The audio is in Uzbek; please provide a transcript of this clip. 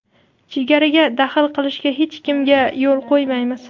Chegaraga daxl qilishga hech kimga yo‘l qo‘ymaymiz.